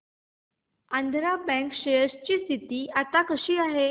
Andhra bank share ची स्थिती आता कशी आहे